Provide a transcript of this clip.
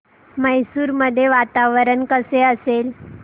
मैसूर मध्ये वातावरण कसे असेल